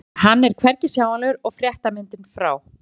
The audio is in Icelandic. En hann er hvergi sjáanlegur og fréttamyndin frá